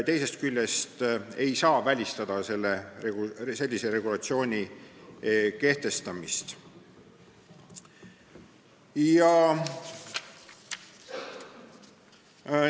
Teisest küljest ei saa välistada sellise regulatsiooni kehtestamist.